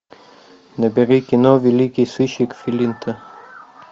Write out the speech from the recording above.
набери кино великий сыщик флинта